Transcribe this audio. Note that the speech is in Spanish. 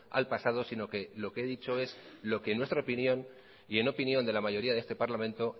al pasado sino que lo que he dicho es lo que en nuestra opinión y en opinión de la mayoría de este parlamento